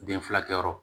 Den furakɛyɔrɔ